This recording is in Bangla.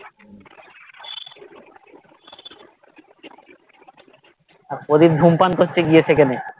আর প্রদীপ ধূমপান করছে গিয়ে সেখানে